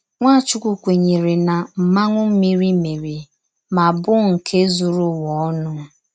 Nwàchùkwù kwènyèrè na Mmànwụ̀ Mmìrì mèrè mà bụ̀ nke zùrù Ụ̀wà onu.